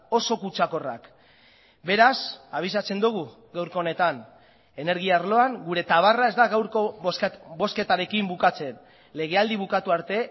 oso kutsakorrak beraz abisatzen dugu gaurko honetan energia arloan gure tabarra ez da gaurko bozketarekin bukatzen legealdi bukatu arte